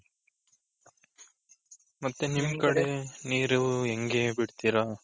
ಮತ್ತೆ ನಿಮ್ ಕಡೆ ನೀರು ಹೆಂಗೆ ಬಿಡ್ತೀರ?